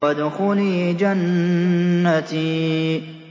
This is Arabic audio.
وَادْخُلِي جَنَّتِي